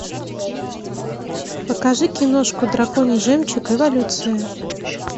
покажи киношку драконий жемчуг эволюция